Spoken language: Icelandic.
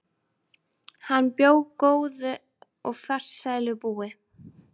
Hann bjó góðu og farsælu búi.